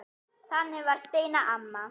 Þannig var Steina amma.